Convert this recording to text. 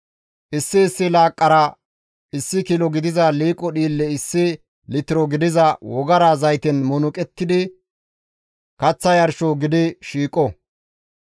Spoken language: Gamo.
Issi issi laaqqara issi kilo gidiza liiqo dhiille issi litiro gidiza wogara zayten munuqettidi kaththa yarsho gidi shiiqo.